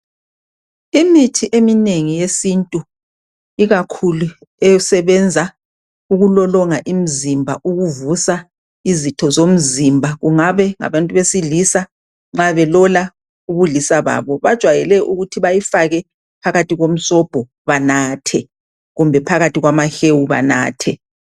Imithi eminengi yesintu ikakhulu esebenza ukulolonga imizimba ukuvusa izitho zomzimba kungabe ngabantu besilisa ma belola ubulisa babo bajwayele ukuthi bayifaka phakathi komsobho banathe kumbe phakathi kwamahewu banathe.